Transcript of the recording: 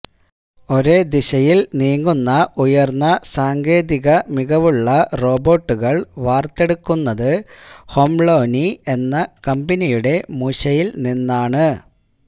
ഒരേ ദിശയില് നീങ്ങുന്ന ഉയര്ന്ന സാങ്കേതിക തികവുളള റൊബോട്ടുകള് വാര്ത്തെടുക്കുന്നത് ഹൊളൊംനി എന്ന കമ്പനിയുടെ മൂശയില് നിന്നാണ്